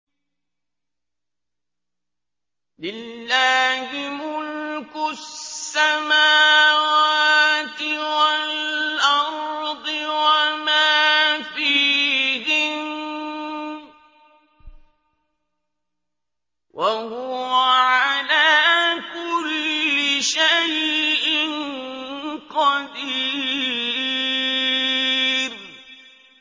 لِلَّهِ مُلْكُ السَّمَاوَاتِ وَالْأَرْضِ وَمَا فِيهِنَّ ۚ وَهُوَ عَلَىٰ كُلِّ شَيْءٍ قَدِيرٌ